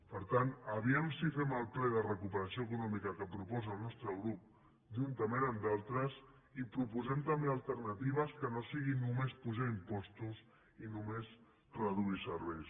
per tant vejam si fem el ple de recuperació econòmica que proposa el nostre grup juntament amb d’altres i proposem també alternatives que no siguin només apujar impostos i només reduir serveis